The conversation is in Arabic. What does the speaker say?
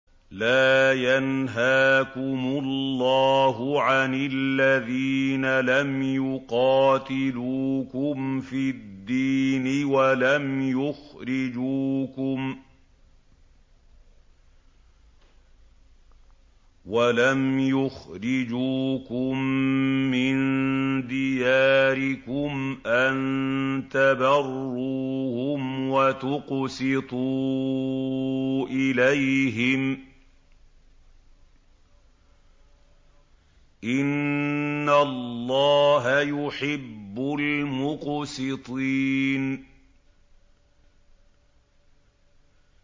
لَّا يَنْهَاكُمُ اللَّهُ عَنِ الَّذِينَ لَمْ يُقَاتِلُوكُمْ فِي الدِّينِ وَلَمْ يُخْرِجُوكُم مِّن دِيَارِكُمْ أَن تَبَرُّوهُمْ وَتُقْسِطُوا إِلَيْهِمْ ۚ إِنَّ اللَّهَ يُحِبُّ الْمُقْسِطِينَ